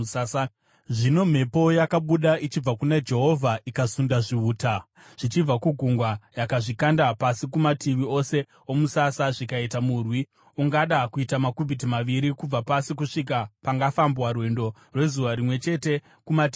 Zvino mhepo yakabuda ichibva kuna Jehovha ikasunda zvihuta zvichibva kugungwa. Yakazvikanda pasi kumativi ose omusasa zvikaita murwi ungada kuita makubhiti maviri kubva pasi, kusvika pangafambwa rwendo rwezuva rimwe chete kumativi ose.